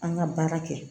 An ka baara kɛ